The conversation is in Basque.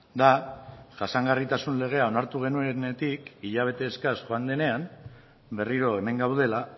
da jasangarritasun legea onartu genuenetik hilabete eskas joan denean berriro hemen gaudela